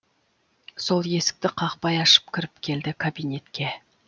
сол есікті қақпай ашып кіріп келді кабинетке